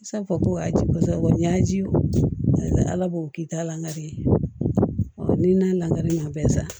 Sa ko a ji ko sabanan ji ala b'o k'i ta la ni n'a lankari ma bɛɛ sa